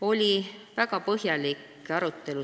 Oli väga põhjalik arutelu.